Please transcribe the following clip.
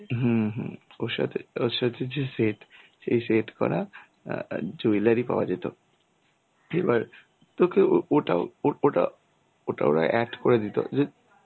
হম হম. ওর সাথে ওর সাথে যে সেট এই সেট করা অ্যাঁ jewellery পাওয়া যেত. এবার তো কেউ ওটাও ওরা ওটা ওটা ওটা ওরা অ্যাড করে দিত যে